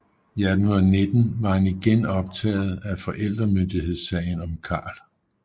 I 1819 var han igen optaget af forældremyndighedssagen om Karl